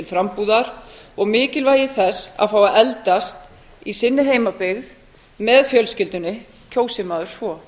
frambúðar og mikilvægi þess að fá að eldast í sinni heimabyggð með fjölskyldunni kjósi maður svo